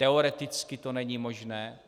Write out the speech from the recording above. Teoreticky to není možné.